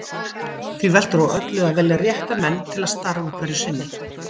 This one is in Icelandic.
Því veltur á öllu að velja rétta menn til starfa hverju sinni.